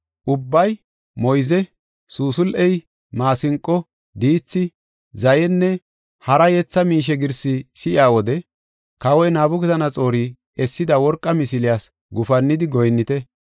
ubbay moyze, suusul7e, maasinqo, diithi, zayenne hara yetha miishe girsi si7iya wode, kawoy Nabukadanaxoori essida worqa misiliyas gufannidi goyinnite.